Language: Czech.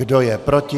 Kdo je proti?